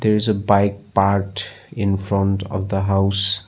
There is a bike parked in front of the house.